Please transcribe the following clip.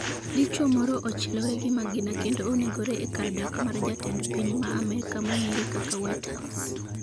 dichuo moro ochielore gi magina kendo onegore e kar dak mar jatend piny ma amerka mong'ere kaka whitehouse